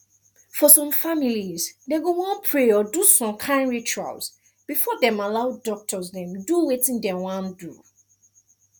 for some families dem go wan pray or do some kind cultural rituals before dem allow doctors dem do wetin dem wan do